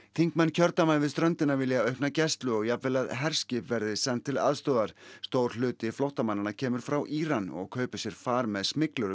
þingmenn kjördæma við ströndina vilja aukna gæslu og jafnvel að herskip verði send til aðstoðar stór hluti flóttamannanna kemur frá Íran og kaupir sér far með